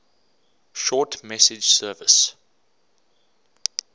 short message service